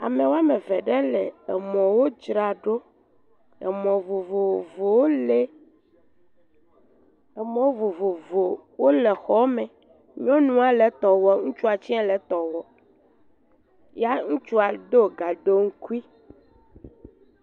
Ame wɔme eve ɖe le emɔwo dzra ɖo. emɔ vovovowo li. Emɔwo vovovowo le xɔ me. Nyɔnua le etɔ wɔ ŋutsua tse le etɔ wɔm. ya ŋutsua do gaɖoŋkui.